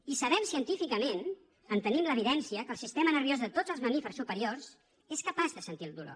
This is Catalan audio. i sabem científicament en tenim l’evidència que el sistema nerviós de tots els mamífers superiors és capaç de sentir el dolor